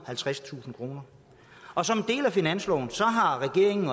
og halvtredstusind kroner og som en del af finansloven har regeringen